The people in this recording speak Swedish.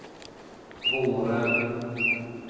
våren